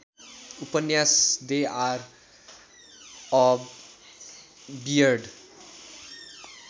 उपन्यास they are a weird